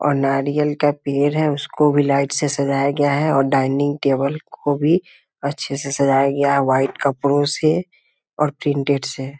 और नारियल का पेड़ है उसको भी लाइट से सजाया गया है और डाइनिंग टेबल को भी अच्छे से सजाया गया है वाइट कपड़ो से और प्रिंटेड से ।